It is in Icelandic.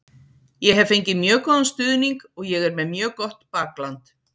Ég hef fengið mjög góðan stuðning og ég er með mjög gott bakland.